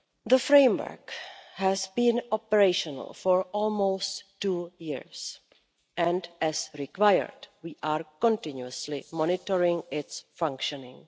The framework has been operational for almost two years and, as required, we are continuously monitoring its functioning.